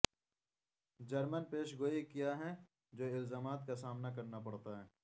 German پیش گوئی کیا ہیں جو الزامات کا سامنا کرنا پڑتا ہے